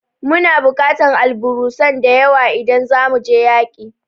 Muna bukatar alburusan da yawa idan zamu je yaƙi